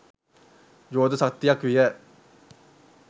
යෝධ ශක්තියක් විය